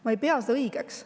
Ma ei pea seda õigeks.